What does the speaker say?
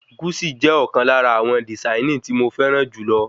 Guṣi jẹ ọ̀kan lára àwọn dìsáìnì tí mo fẹràn jùlọ